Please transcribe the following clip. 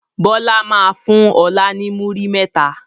Bọlá máa fún ọ̀la ni múrí mẹ́ta.